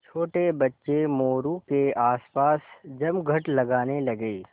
छोटे बच्चे मोरू के आसपास जमघट लगाने लगे